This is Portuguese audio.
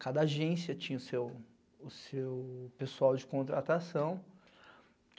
Cada agência tinha o seu pessoal de contratação.